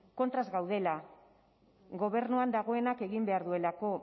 kontra ez gaudela gobernuan dagoenak egin behar duelako